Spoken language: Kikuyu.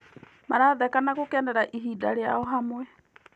Maratheka na gũkenera ihinda rĩao hamwe.